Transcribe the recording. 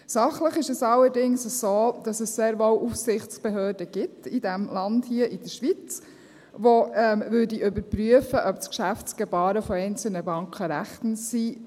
Sachlich ist es allerdings so, dass es sehr wohl Aufsichtsbehörden gibt in diesem Land hier, der Schweiz, die überprüfen würden, ob das Geschäftsgebaren einzelner Banken rechtens ist.